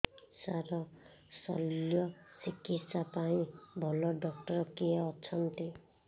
ସାର ଶଲ୍ୟଚିକିତ୍ସା ପାଇଁ ଭଲ ଡକ୍ଟର କିଏ ଅଛନ୍ତି